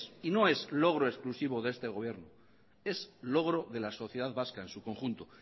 y no es logro exclusivo de este gobierno es logro de la sociedad vasca en su conjunto